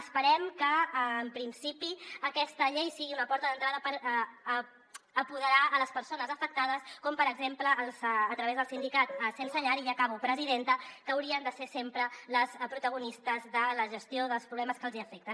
esperem que en principi aquesta llei sigui una porta d’entrada per apoderar les persones afectades com per exemple a través del sindicat sense llar i ja acabo presidenta que haurien de ser sempre les protagonistes de la gestió dels problemes que els afecten